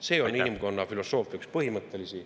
See on inimkonna filosoofia üks põhimõttelisi …